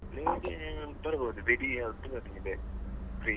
Free ಇದ್ರೆ ಬರ್ಬಹುದು ಬೆಡಿ ಆವತ್ತು ಇರ್ತದೆ free .